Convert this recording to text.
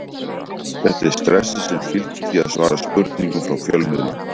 Þetta er stressið sem fylgir því að svara spurningum frá fjölmiðlum.